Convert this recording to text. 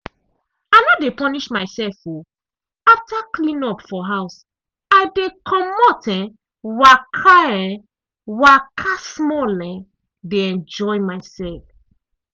i no de punish myself um after cleanup for house i dey comot um waka um waka small um de enjoy myself.